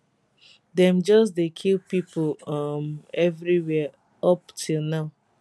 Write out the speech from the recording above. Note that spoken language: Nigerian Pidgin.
dem just dey kill pipo um evriwia up till now